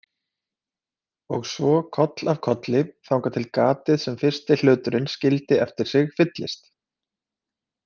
Og svo koll af kolli þangað til gatið sem fyrsti hluturinn skildi eftir sig fyllist.